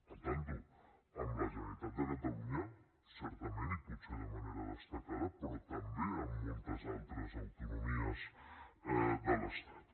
compte amb la generalitat de catalunya certament i potser de manera destacada però també amb moltes altres autonomies de l’estat